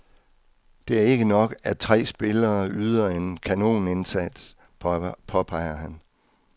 Det er ikke nok, at tre spillere yder en kanonindsats, påpeger han.